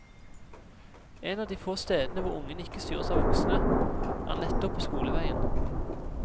En av de få stedene hvor ungene ikke styres av voksne, er nettopp på skoleveien.